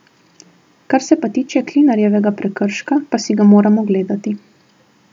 Kar se pa tiče Klinarjevega prekrška, pa si ga moram ogledati.